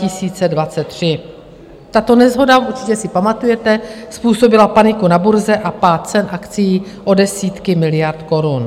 Tato neshoda, určitě si pamatujete, způsobila paniku na burze a pád cen akcií o desítky miliard korun.